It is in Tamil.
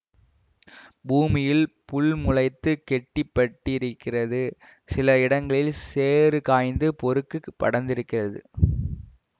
பூமியில் புல் முளைத்து கெட்டிப் பட்டிருக்கிறது சில இடங்களில் சேறு காய்ந்து பொறுக்குப் படர்ந்திருக்கிறது